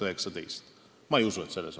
Ma ei usu, et põhjus on selles.